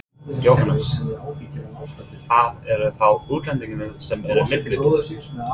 Jóhannes: Það eru þá útlendingarnir sem eru milliliðir?